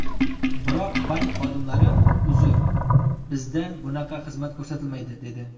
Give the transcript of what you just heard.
Biroq bank xodimlari ‘Uzr, bizda bunaqa xizmat ko‘rsatilmaydi’, dedi.